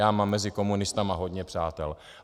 Já mám mezi komunisty hodně přátel.